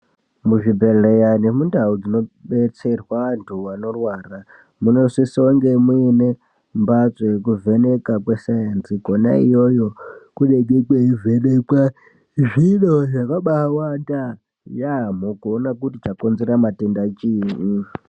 Muzvibhedhleya nemundau dzinobetserwa antu anorwara munosise kunge muine mbatso yekuvhenekwa kweSaenzi, kwena ikweyo kunovhenekwa zviro zvakabaawanda yeyamho kuona kuti chakonzera matenda chini.